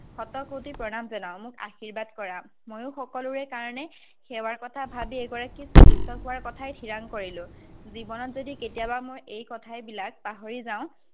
শত-কোটি প্ৰণাম জনাওঁ, মোক আশিৰ্বাদ কৰা। ময়ো সকলোৰে কাৰণে সেৱাৰ কথা ভাৱি এগৰাকী চিকিত্সক হোৱাৰ কথাই ঠিৰাং কৰিলো। জীৱনত যদি কেতিয়াবা মই এই কথাবিলাক পাহৰি যাঁও,